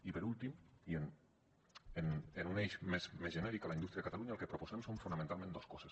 i per últim i en un eix més genèric a la indústria a catalunya el que proposem són fonamentalment dos coses